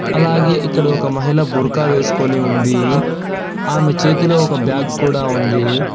అలాగే ఇక్కడ ఒక మహిళ బుర్కా వేసుకొని ఉంది ఆమె చేతిలో ఒక బ్యాగ్ కూడా ఉంది.